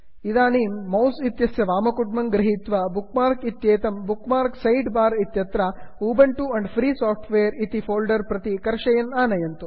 इदानीं मौस् इत्यस्य वामकुड्मं गृहीत्वा तत् बुक् मार्क् इत्येतत् बुक् मार्क् सैड् बार् इत्यत्र Ubuntu and free software Ubuntu and free software इति फोल्डर् प्रति कर्षयन्तः आनयन्तु